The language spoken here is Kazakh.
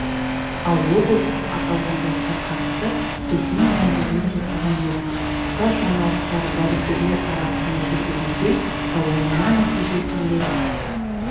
ал облыстық аталған жайтқа қатысты ресми мәлімдеме жасаған жоқ ұқсас жаңалықтар дәрігерлер арасында жүргізілген сауалнама нәтижесінде